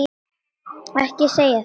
Ekki segja þetta, Svenni.